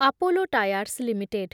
Apollo tyres limited